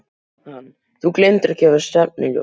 Hann: Þú gleymdir að gefa stefnuljós.